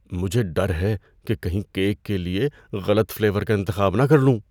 مجھے ڈر ہے کہ کہیں کیک کے لیے غلط فلیور کا انتخاب نہ کر لوں۔